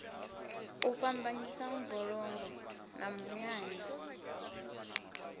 u fhambanyisa mbulungo na munyanya